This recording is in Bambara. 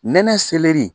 Nɛnɛ selɛri